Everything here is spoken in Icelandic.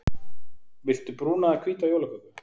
Viltu brúna eða hvíta jólaköku?